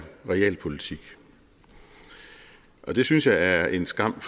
realpolitik det synes jeg er en skam